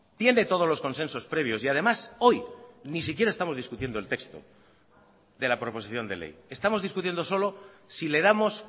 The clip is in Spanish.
tiene todos los consensos previos y además hoy ni siquiera estamos discutiendo el texto de la proposición de ley estamos discutiendo solo si le damos